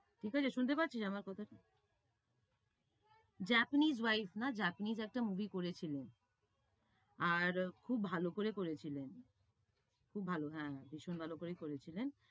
ঠিক আছে, শুনতে পাচ্ছিস আমার কথাটা? Japanese wife না Japanese একটা movie করেছিলেন। আর খুব ভালো করে করেছিলেন, খুব ভালো, হ্যাঁ ভীষণ ভালো করেই করেছিলেন।